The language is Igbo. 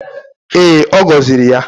Ee, ọ gọziri ya